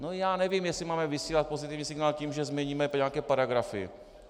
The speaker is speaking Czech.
No já nevím, jestli máme vysílat pozitivní signál tím, že změníme nějaké paragrafy.